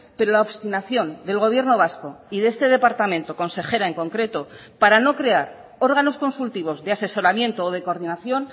pero la obstinación del gobierno vasco y de este departamento consejera en concreto para no crear órganos consultivos de asesoramiento o de coordinación